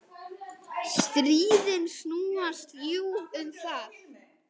Stríðin snúast jú um það.